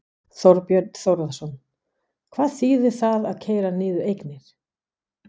Þorbjörn Þórðarson: Hvað þýðir það að keyra niður eignir?